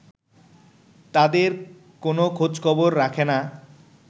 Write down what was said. তাঁদের কোনো খোঁজখবর রাখে না